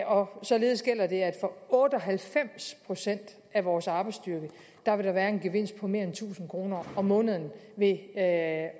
og således gælder det at for otte og halvfems procent af vores arbejdsstyrke vil der være en gevinst på mere end tusind kroner om måneden ved at